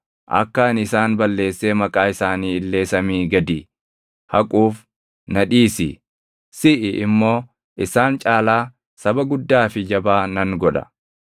Akka ani isaan balleessee maqaa isaanii illee samii gadii haquuf na dhiisi; siʼi immoo isaan caalaa saba guddaa fi jabaa nan godha.”